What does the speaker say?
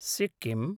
Sikkim